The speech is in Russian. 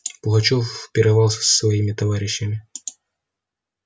пугачёв пировал с своими товарищами